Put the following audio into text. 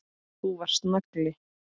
Þú varst nagli.